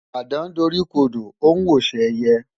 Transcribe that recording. Àdán doríkodò ó ń wòṣe ẹyẹ.